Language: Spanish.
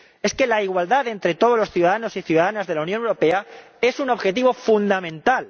Es que la igualdad entre todos los ciudadanos y ciudadanas de la Unión Europea es un objetivo fundamental.